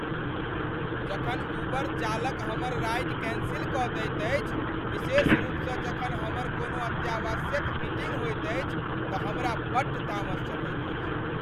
जखन उबर चालक हमर राइड कैंसिल कऽ दैत अछि विशेष रूपसँ जखन हमर कोनो अत्यावशयक मीटींग होइत अछि तऽ हमरा बड्ड तामस चढ़ैत अछि।